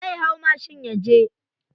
Zai hau mashin yaje.